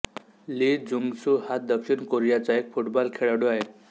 ली Jungsoo हा दक्षिण कोरीयाचा एक फुटबाॅल खेळाडू आहे